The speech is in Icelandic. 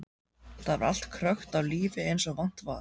Þar var allt krökkt af lífi eins og vant var.